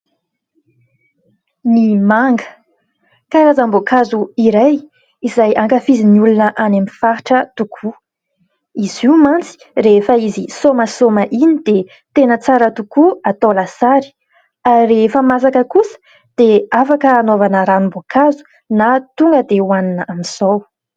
Ny manga, karazam-boankazo iray izay ankafizin'ny olona any amin'ny faritra tokoa. Izy io mantsy rehefa izy somasoma iny dia tena tsara tokoa atao lasary. Rehefa masaka kosa dia afaka anaovana ranom-boankazo na tonga dia hanina amin'izao.